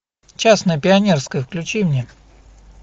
частное пионерское включи мне